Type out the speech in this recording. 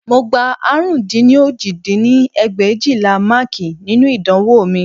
Mo gbà àrún dín ní òjì dín ní ẹgbẹ̀éjìlá máàkì nínú ìdánwò mi